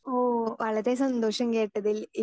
speaker 2 ഓ വളരെ സന്തോഷം കേട്ടതിൽ